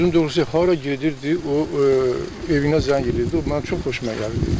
Sözün doğrusu hara gedirdi, o evinə zəng edirdi, o mənim çox xoşuma gəlirdi.